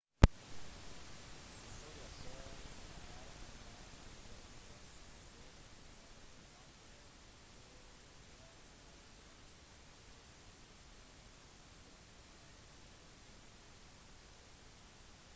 victoria falls er en by i den vestlige delen av zimbabwe på tvers av grensen fra livingstone zambia og i nærheten av botswana